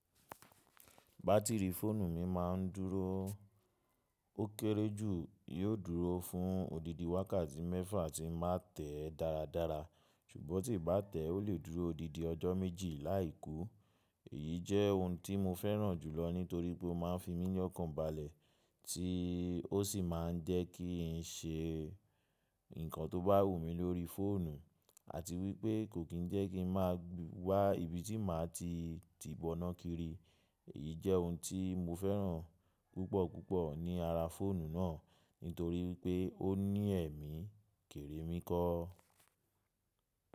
Bátìrì fóònù mi má a ń dúró ó kéré jù, yóò dúró fún odidi wákàtí mẹ́fà tí ń má tẹ́ darádará, ṣùgbọ́n tí n bá tẹ́ ó lè dúró odidi ọjọ́ méjì láì kú. Èyí jẹ́ ohun tí mo fẹ́ràn jùlọ nítorí pé ó má a ń fi mí ní ọkàn balẹ̀ tí ó sì má a ń jẹ́ kí n ṣe nǹkan tó bá wù mí lórí fóònù àti wípé kò kín jẹ́ kí n má a gbà ibi tí màá ti tìbọnákiri. Èyí jẹ́ ohun tí mo fẹ́ràn púpọ̀púpọ̀ ní ara fóònù náà nítorí pé ó ní ẹ̀mí, kèrè mí kọ́.